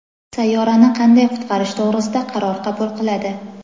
sayyorani qanday qutqarish to‘g‘risida qaror qabul qiladi.